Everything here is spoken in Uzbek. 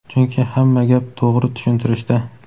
Chunki hamma gap to‘g‘ri tushuntirishda.